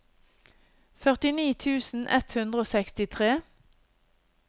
førtini tusen ett hundre og sekstitre